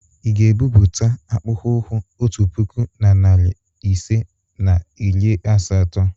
Ị ga-ebubata akpụkpọ ụkwụ otu puku na narị ise na iri asatọ?